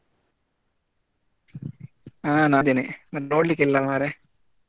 ಹ ನಾ ಅದಿನಿ ಮತ್ತೆ ನೋಡ್ಲಿಕ್ಕೆ ಇಲ್ಲ ಮರ್ರೆ?